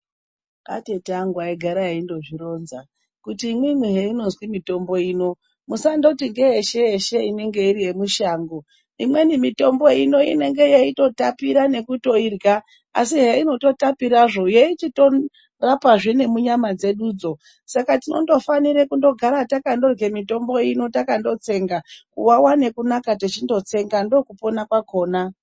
Atete angu aigara eindozvironza kuti imwimwi zveinozi mitombo ino musandoti ngeyeshe yeshe inenge iri yemushango , imweni mitombo inenge ichitotapira weitoirya , asi heyi chitotapirazvo eichitorapa zvee munyama dzedudzo saka tinondofanira kugara takandorye mitombo ino takandotsenga kuwawa nekunaka ndichindotsenga ndokupona kwakona.